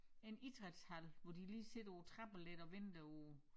En idrætshal hvor de lige sidder på æ trapper lidt og venter på